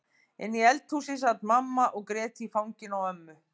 Inni í eldhúsi sat mamma og grét í fanginu á ömmu.